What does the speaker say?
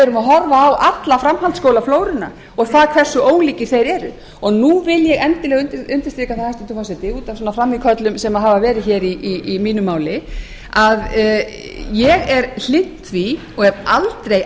við erum að horfa á alla framhaldsskólaflóruna og það hversu ólíkir þeir eru og nú vil ég endilega undirstrika það hæstvirtur forseti út af svona frammíköllum sem hafa verið hér í mínu máli að ég er hlynnt því og hef aldrei